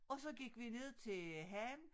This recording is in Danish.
Og så gik vi ned til havnen